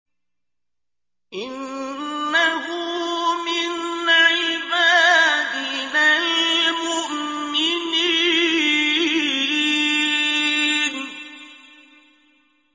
إِنَّهُ مِنْ عِبَادِنَا الْمُؤْمِنِينَ